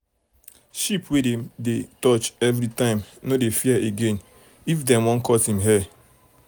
sheep um wey dem dey um touch every time no dey fear again fear again if dem wan cut em hair.